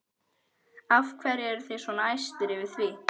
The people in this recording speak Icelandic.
Af hverju eru þið svona æstir yfir því?